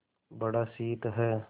बड़ा शीत है